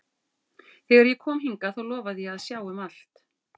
Þegar ég kom hingað þá lofaði ég að sjá um allt.